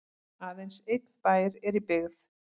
aðeins einn bær er í byggð